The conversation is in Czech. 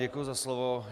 Děkuji za slovo.